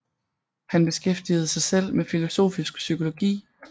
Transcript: Han beskæftigede sig selv med filosofisk psykologi